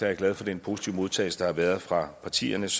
jeg glad for den positive modtagelse der har været fra partiernes